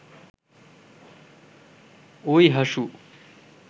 ওই হাসু